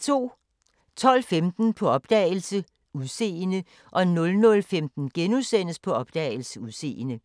12:15: På opdagelse – Udseende 00:15: På opdagelse – Udseende *